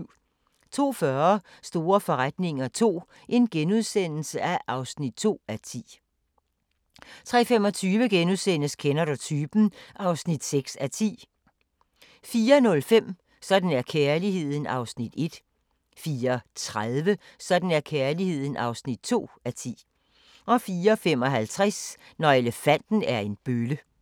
02:40: Store forretninger II (2:10)* 03:25: Kender du typen? (6:10)* 04:05: Sådan er kærligheden (1:10) 04:30: Sådan er kærligheden (2:10) 04:55: Når elefanten er en bølle